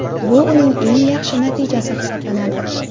Bu uning eng yaxshi natijasi hisoblanadi.